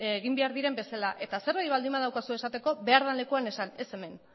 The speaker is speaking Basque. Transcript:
egin behar diren bezala eta zerbait baldin baduzu esateko behar den lekuan esan eta ez hemen